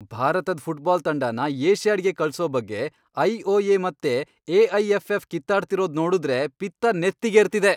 ಭಾರತದ್ ಫುಟ್ಬಾಲ್ ತಂಡನ ಏಷ್ಯಾಡ್ಗೆ ಕಳ್ಸೋ ಬಗ್ಗೆ ಐ.ಒ.ಎ. ಮತ್ತೆ ಎ.ಐ.ಎಫ್.ಎಫ್. ಕಿತ್ತಾಡ್ತಿರೋದ್ ನೋಡುದ್ರೆ ಪಿತ್ತ ನೆತ್ತಿಗೇರ್ತಿದೆ.